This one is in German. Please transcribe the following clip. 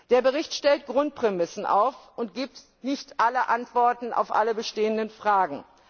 Der Bericht stellt Grundprämissen auf und gibt nicht alle Antworten auf alle bestehenden Fragen.